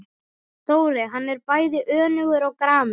Dóri, hann er bæði önugur og gramur.